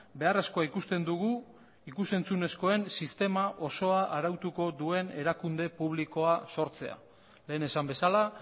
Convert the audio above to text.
beharrezkoa ikusten dugu ikus entzunezkoen sistema osoa arautuko duen erakunde publikoa sortzea lehen esan bezala